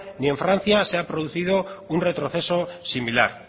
ni en francia se ha producido un retroceso similar